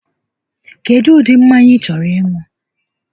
Kedụ ụdị mmanya ị chọrọ ịṅụ?